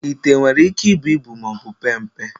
Ite nwere íké ibu ibu maọbụ pee mpe.